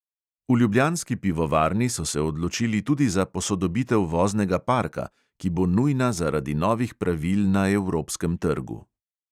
V ljubljanski pivovarni so se odločili tudi za posodobitev voznega parka, ki bo nujna zaradi novih pravil na evropskem trgu.